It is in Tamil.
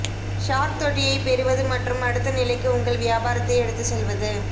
ஷார்க் தொட்டியைப் பெறுவது மற்றும் அடுத்த நிலைக்கு உங்கள் வியாபாரத்தை எடுத்துச் செல்வது